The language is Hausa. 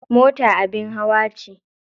Mota abin hawa ce.